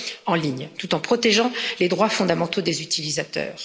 en ligne, tout en protégeant les droits fondamentaux des utilisateurs.